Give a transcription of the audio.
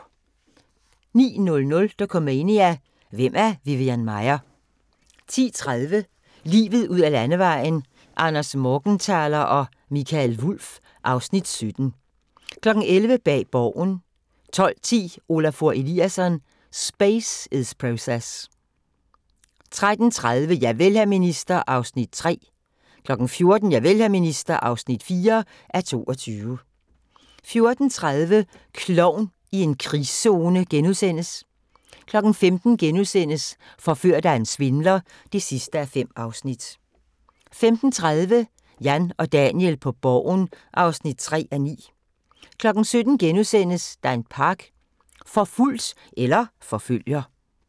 09:00: Dokumania: Hvem er Vivian Maier? 10:30: Livet ud ad Landevejen: Anders Morgenthaler og Mikael Wulff (Afs. 17) 11:00: Bag Borgen 12:10: Olafur Eliasson: Space is Process 13:30: Javel, hr. minister (3:22) 14:00: Javel, hr. minister (4:22) 14:30: Klovn i en krigszone * 15:00: Forført af en svindler (5:5)* 15:30: Jan og Daniel på Borgen (3:9) 17:00: Dan Park – forfulgt eller forfølger? *